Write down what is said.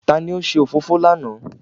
Ta ni ó ṣe òfófó lánàá?